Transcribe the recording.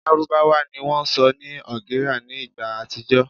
Lárúbáwá ni wón sọ ní Algeria ní ìgbà àtijó